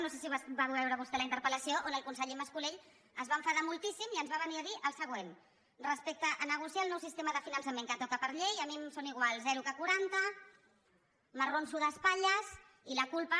no sé si la va veure vostè la interpel·ller mas colell es va enfadar moltíssim i ens va venir a dir el següent respecte a negociar el nou sistema de finançament que toca per llei a mi em sona igual zero que quaranta m’arronso d’espatlles i la culpa